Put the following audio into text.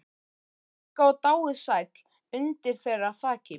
Helga og dáið sæll undir þeirra þaki.